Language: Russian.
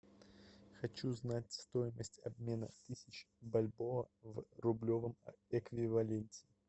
хочу знать стоимость обмена тысяч бальбоа в рублевом эквиваленте